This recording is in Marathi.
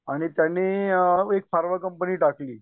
आणि त्यांनी एक फार्म कंपनी टाकली.